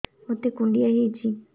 ମୋତେ କୁଣ୍ଡିଆ ହେଇଚି